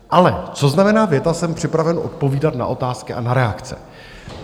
Ale co znamená věta, jsem připraven odpovídat na otázky a na reakce?